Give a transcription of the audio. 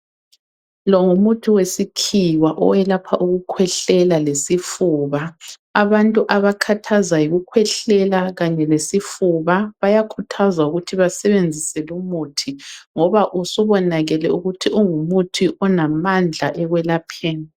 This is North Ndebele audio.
Lo ngumuthi wesikhiwa owelapha ukukhwehlela lesifuba. Abantu abakhathazwa yikukhwehlela kanye lesifuba bayakhuthazwa ukuthi basebenzise lumuthi ngoba usubonakele ukuthi ungumuthi onamandla ekwelapheni.